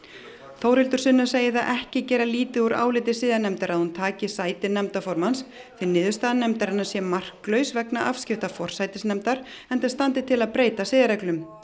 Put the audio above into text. Þórhildur Sunna segir það ekki gera lítið úr áliti siðanefndar að hún taki sæti nefndarformanns því niðurstaða nefndarinnar sé marklaus vegna afskipta forsætisnefndar enda standi til að breyta siðareglum